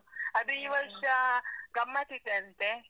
ಅದು ಈ ವರ್ಷ ಗಮತ್ತ್ ಇದೆ ಅಂತೆ.